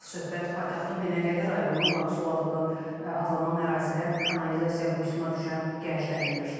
Söhbət paytaxtın Binəqədi rayonu Baksol adlı adlanan ərazidə kanalizasiya quyusuna düşən gəncdən gedir.